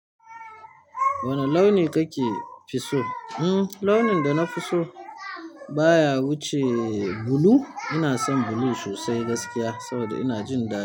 Wane launi kake fi so? Umm, launin da na fi so baya wuce bulu. Ina son bulu sosai gaskiya saboda ina jin da.